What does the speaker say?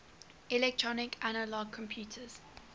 electronic analog computers